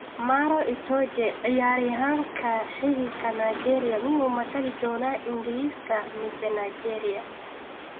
Maro Itoje: Ciyaaryahanka xididka Nigeria miyuu matali doonaa Ingriska mise Nigeria?